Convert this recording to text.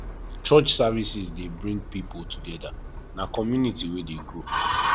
church services dey bring pipo together na community wey dey grow